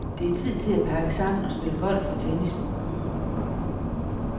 Det er tid til at pakke sammen og spille golf og tennis med konen.